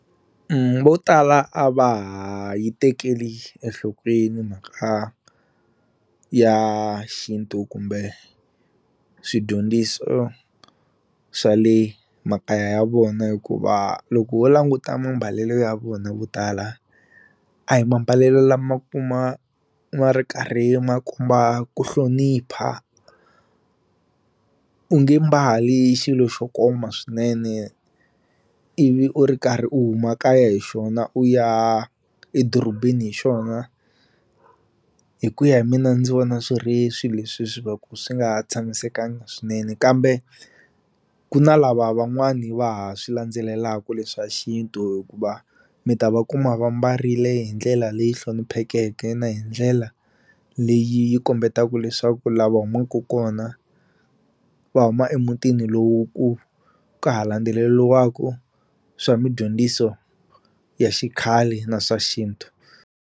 Vo tala a va ha yi tekeli enhlokweni mhaka ya xintu kumbe swidyondziso swa le makaya ya vona hikuva loko ho languta mambalelo ya vona vo tala a hi mambalelo lama kuma ma ri karhi makomba ku hlonipha u nge mbali xilo xo koma swinene ivi u ri karhi u huma kaya hi xona u ya edorobeni hi xona hi ku ya hi mina ndzi vona swi ri swi leswi swi va ku swi nga ha tshamisekangi swinene kambe ku na lava van'wani va ha swi landzelelaku leswa xintu hikuva mi ta va kuma va mbarile hi ndlela leyi hloniphekeke na hi ndlela leyi yi kombetaku leswaku laha va humaku kona va huma emutini lowu ku ka ha landzeleliwaku swa midyondziso ya xikhale na swa xintu.